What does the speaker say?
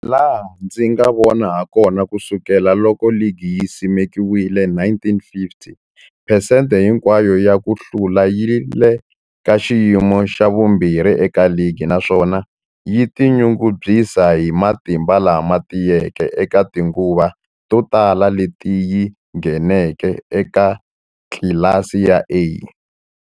Hilaha ndzi nga vona hakona, ku sukela loko ligi yi simekiwile, 1950, phesente hinkwayo ya ku hlula yi le ka xiyimo xa vumbirhi eka ligi, naswona yi tinyungubyisa hi matimba lama tiyeke eka tinguva to tala leti yi ngheneke eka tlilasi ya A.